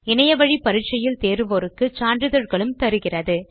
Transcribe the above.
இணைய வழி தேர்வில் தேர்ச்சி பெற்றவர்களுக்கு சான்றிதழ் வழங்குகின்றனர்